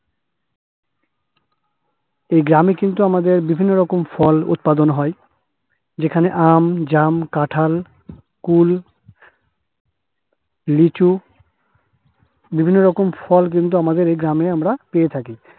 এ গ্রামে কিন্তু আমাদের বিভিন্ন রকম ফল উৎপাদন হয়। যেখানে আম, জাম, কাঁঠাল, কুল, লিচু, বিভিন্ন রকম ফল কিন্তু আমাদের এ গ্রামে আমরা পেয়ে থাকি।